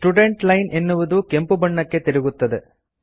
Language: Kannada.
ಸ್ಟುಡೆಂಟ್ ಲೈನ್ ಎನ್ನುವುದು ಕೆಂಪುಬಣ್ಣಕ್ಕೆ ತಿರುಗುತ್ತದೆ